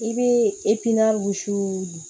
I bɛ